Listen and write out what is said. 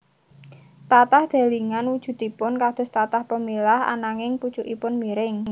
Tatah delingan wujudipun kados tatah pemilah ananging pucukipun miring